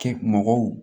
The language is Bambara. Kɛ mɔgɔw